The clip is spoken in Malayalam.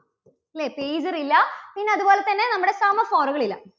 ല്ലേ pager ഇല്ല പിന്നെ അതുപോലെ തന്നെ നമ്മുടെ semaphore കൾ ഇല്ല.